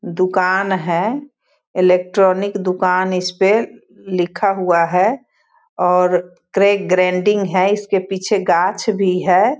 दुकान है इलेक्ट्रॉनिक दुकान इसपे लिखा हुआ है और क्रैक ग्राइंडिंग है इसके पीछे गाछ भी है।